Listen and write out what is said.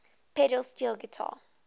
pedal steel guitar